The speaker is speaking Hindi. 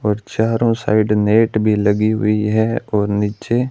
और चारों साइड नेट भी लगी हुई है और नीचे--